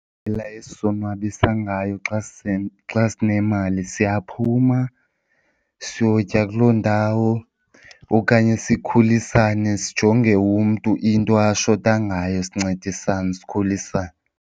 esizonwabisa ngayo xa xa sinemali siyaphuma siyotya kuloo ndawo okanye sikhulisane sijonge umntu into ashota ngayo sincedisane, sikhulisane.